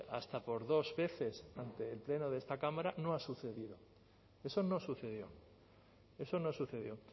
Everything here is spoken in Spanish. hasta por dos veces ante el pleno de esta cámara no ha sucedido eso no sucedió eso no sucedió